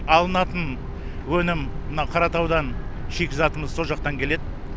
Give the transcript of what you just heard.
алынатын өнім мына қаратаудан шикізатымыз сол жақтан келеді